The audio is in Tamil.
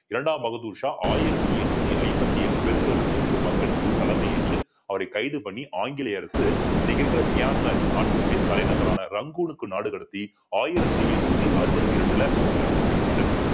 இரண்டாம் பகதூர் ஷா ஆயிரத்தி எண்ணூத்தி ஐம்பத்தி ஏழு மீது பங்கெடுத்து தலைமையேற்று அவரை கைது பண்ணி ஆங்கிலேய அரசு இன்னைக்கு இருக்கிற மியான்மர் நாட்டினுடைய தலைநகரான ரங்கூனுக்கு நாடு கடத்தி ஆயிரத்தி எண்ணூத்தி அறுபத்தி இரண்டுல அவர் இறந்து போயிருறாரு